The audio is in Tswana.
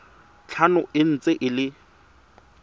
tlhano e ntse e le